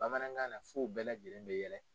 Bamanankan na f'u u bɛɛ lajɛlen bɛ yɛlɛ.